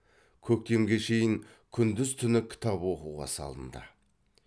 көктемге шейін күндіз түні кітап оқуға салынды